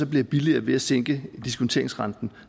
bliver billigere ved at sænke diskonteringsrenten